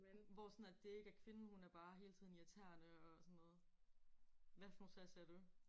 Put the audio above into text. Hvor sådan at det ikke er kvinden hun er bare hele tiden irriterende og sådan noget. Hvad for nogle serie ser du?